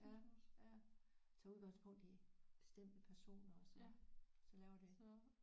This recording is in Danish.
Ja ja tog udgangspunkt i bestemte personer og så så laver det